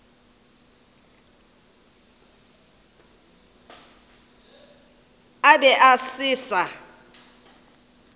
a be a se sa